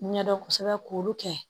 Ɲɛdɔn kosɛbɛ k'olu kɛ